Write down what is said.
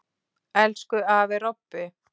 Elsku afi Robbi.